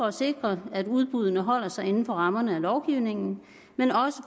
at sikre at udbuddene holder sig inden for rammerne af lovgivningen men også